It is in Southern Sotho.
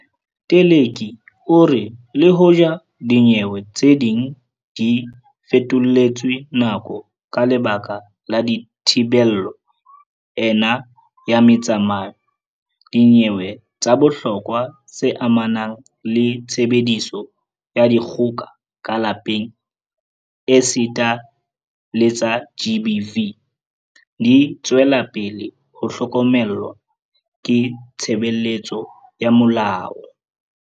Teleki o re le hoja dinyewe tse ding di fetoletswe nako ka lebaka la thibelo ena ya metsamao, dinyewe tsa bohlokwa tse amanang le tshebediso ya dikgoka ka lapeng esita le tsa GBV di tswela pele ho hlokomelwa ke tshebeletso ya molao.